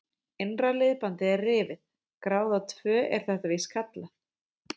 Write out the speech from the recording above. Innra liðbandið er rifið, gráða tvö er þetta víst kallað.